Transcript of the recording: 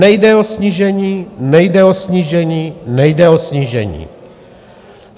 Nejde o snížení, nejde o snížení, nejde o snížení.